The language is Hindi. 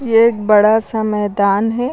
एक बड़ा सा मैदान है।